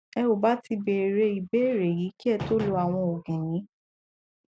ẹ ò bá ti béèrè ìbéèrè yìí kí ẹ tó lo àwọn òògùn yìí